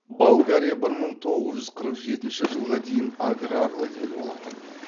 болгария бір мың тоғыз жүз қырық жетінші жылға дейін аграрлы ел болатын